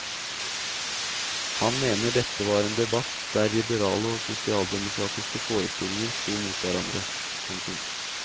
Han mener dette var en debatt der liberale og sosialdemokratiske forestillinger stod mot hverandre. punktum